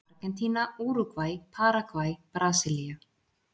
Argentína, Úrúgvæ, Paragvæ, Brasilía.